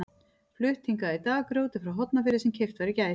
Flutt hingað í dag grjótið frá Hornafirði sem keypt var í gær.